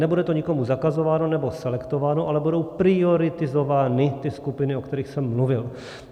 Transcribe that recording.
Nebude to nikomu zakazováno, nebo selektováno, ale budou prioritizovány ty skupiny, o kterých jsem mluvil.